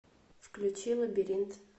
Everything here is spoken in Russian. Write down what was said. включи лабиринт